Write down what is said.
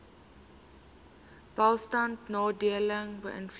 welstand nadelig beïnvloed